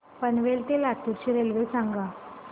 पनवेल ते लातूर ची रेल्वे सांगा